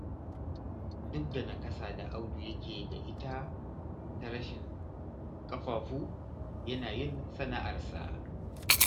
Duk da nakasa da Audu yake da ita ta rashin ƙafafu, yana yin sana'arsa.